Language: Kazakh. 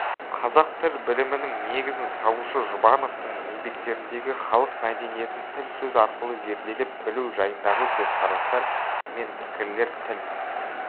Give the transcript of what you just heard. қазақ тіл білімінің негізін салушы жұбановтың еңбектеріндегі халық мәдениетін тіл сөз арқылы зерделеп-білу жайындағы көзқарастар мен пікірлер тіл